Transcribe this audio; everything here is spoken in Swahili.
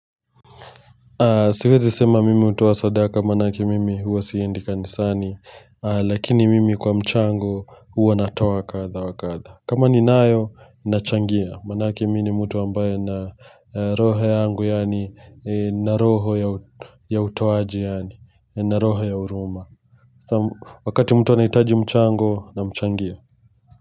Siwezi sema mimi hutoa sadaka maanake mimi huwa siendi kanisani lakini mimi kwa mchango huwa natoa kadha wa kadha. Kama ninayo ninachangia maanake mimi ni mtu ambaye nina roho yangu yaani nina roho ya utoaji yaani nina roho ya huruma Wakati mtu anahitaji mchango namchangia.